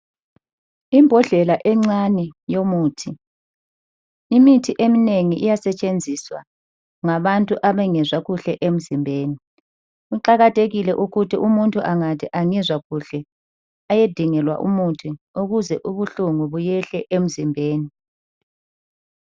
Imbodlela encane yomuthi. Imithi eminengi iyasetshenziswa ngabantu abangezwa kuhle emzimbeni. Kuqakathekile ukuthi umuntu angathi angizwa kuhle ayedingelwa umuthi ukuze ubuhlungu buyehle emzimbeni.